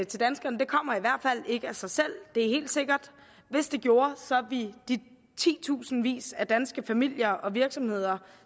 til danskerne kommer i hvert fald ikke af sig selv det er helt sikkert hvis det gjorde ville de titusindvis af danske familier og virksomheder